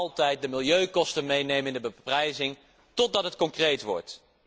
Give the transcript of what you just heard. Wij willen altijd de milieukosten meenemen in de beprijzing, totdat het concreet wordt.